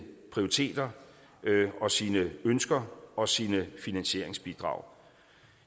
prioriteter og sine ønsker og sine finansieringsbidrag